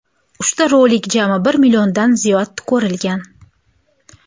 Uchta rolik jami bir milliondan ziyod ko‘rilgan.